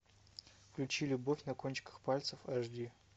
включи любовь на кончиках пальцев аш ди